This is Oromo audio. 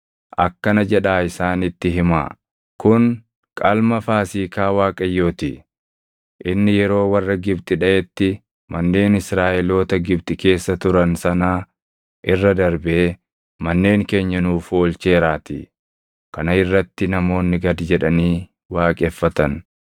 akkana jedhaa isaanitti himaa; ‘Kun qalma Faasiikaa Waaqayyoo ti; inni yeroo warra Gibxi dhaʼetti manneen Israaʼeloota Gibxi keessa turan sanaa irra darbee manneen keenya nuuf oolcheeraatii.’ ” Kana irratti namoonni gad jedhanii waaqeffatan.